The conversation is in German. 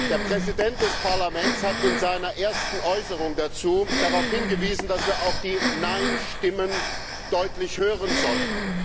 Der Präsident des Parlaments hat in seiner ersten Äußerung dazu darauf hingewiesen, dass wir auch die Nein Stimmen deutlich hören sollen.